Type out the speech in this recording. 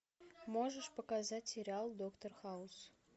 можешь показать сериал доктор хаус